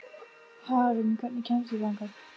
Hagalín, hvernig kemst ég þangað?